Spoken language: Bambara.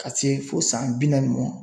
Ka se fo san bi naani mɔn.